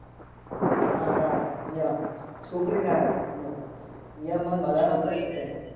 ના ના અહીંયા છોકરીના ઈયો. ઈયો અમાર મલાના થી